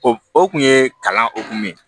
O o kun ye kalan hokumu ye